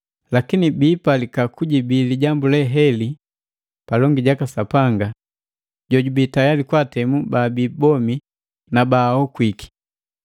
Lakini biipalika kujibii lijambu le heli palongi jaka Sapanga jojubii tayali kwaatemu baabi bomi na baakuwiki!